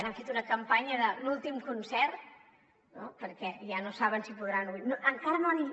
ara han fet una campanya de l’últim concert no perquè ja no saben si podran tornar a obrir